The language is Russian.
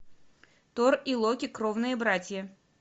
тор и локи кровные братья